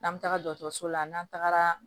N'an bɛ taga dɔgɔtɔrɔso la n'an tagara